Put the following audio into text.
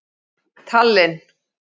Tallinn